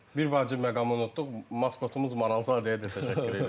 Bir vacib məqamı unutduq, maskotumuz Maralzadəyə də təşəkkür edirəm.